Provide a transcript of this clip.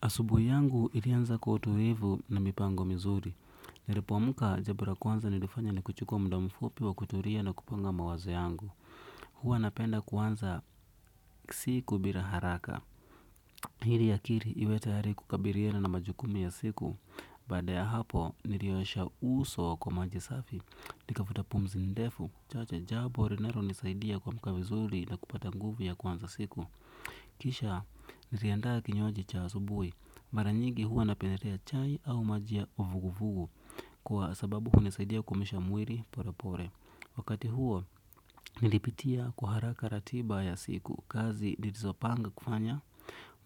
Asubuhi yangu ilianza kwa utulivu na mipango mizuri. Nilipoamka jambo la kwanza nilifanya ni kuchukua muda mfupi wa kutulia na kupanga mawazo yangu. Huwa napenda kuanza siku bila haraka. Ili akili iwe tayari kukabiliana na majukumu ya siku. Baada ya hapo, niliosha uso kwa maji safi. Nikavuta pumzi ndefu. Chache, jambo linalonisaidia kuamka vizuri na kupata nguvu ya kuanza siku. Kisha, niliandaa kinywaji cha asubuhi. Mara nyingi huwa napendelea chai au maji ya uvuguvugu kwa sababu hunisaidia kuumisha mwili polepole. Wakati huo, nilipitia kwa haraka ratiba ya siku kazi nilizopanga kufanya,